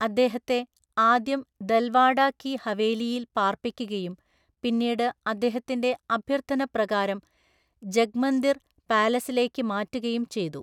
അദ്ദേഹത്തെ ആദ്യം ദൽവാഡ കി ഹവേലിയിൽ പാർപ്പിക്കുകയും പിന്നീട് അദ്ദേഹത്തിന്റെ അഭ്യർത്ഥന പ്രകാരം ജഗ്മന്ദിർ പാലസിലേക്ക് മാറ്റുകയും ചെയ്തു.